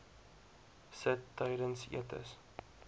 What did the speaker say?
sit tydens etes